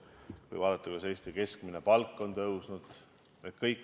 Või kui vaadata, kuidas Eesti keskmine palk on tõusnud.